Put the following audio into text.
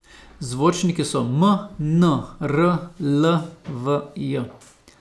Zvočniki so m, n, r, l , v , j.